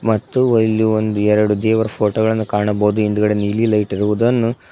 ಮತ್ತು ಇಲ್ಲಿ ಒಂದೆರಡು ದೇವರ ಫೋಟೋ ಗಳನ್ನು ಕಾಣಬೋದು ಹಿಂದ್ಗಡೆ ನೀಲಿ ಲೈಟ್ ಇರುವುದನ್ನು--